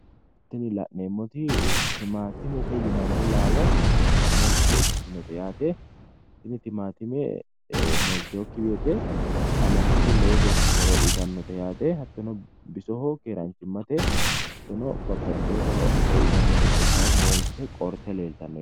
Tini la'neemmoti timaantimete yinanni laalo moolte ikkitinote yaate. Tini timaantime moolteewookki woyte qaamattote lowo geeshsha horo uytannote yaate hattono bisoho keeraanchimate babbaxiteeworira horo uytannote kaayinni moolte(qoorte) leeltanno.